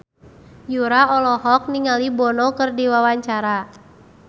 Yura olohok ningali Bono keur diwawancara